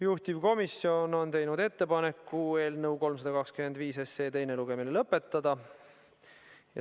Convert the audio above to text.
Juhtivkomisjon on teinud ettepaneku eelnõu 325 teine lugemine lõpetada.